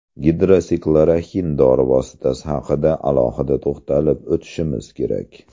Gidroksixloroxin dori vositasi haqida alohida to‘xtalib o‘tishim kerak.